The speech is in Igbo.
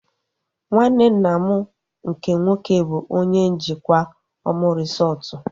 Nwanne nna m nke nwoke bụ onye njikwa Omu resọtu